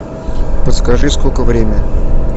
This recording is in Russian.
подскажи сколько время